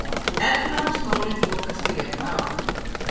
Efnahagsmálin þokast í rétta átt